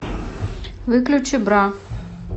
выключи бра